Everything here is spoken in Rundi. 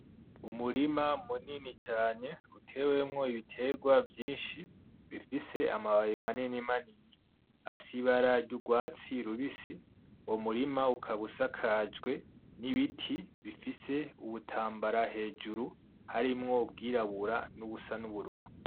Umurima munini cane utewemwo ibiterwa vyinshi bifise amababi manini manini afise ibara ry'ugwatsi rubisi uwo murima ukabusakajwe n'ibiti bifise ubutambara hejuru harimwo ubwirabura n'ubusa n'ubururu.